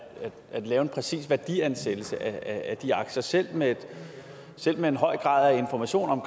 at lave en præcis værdiansættelse af de aktier selv med selv med en høj grad af information om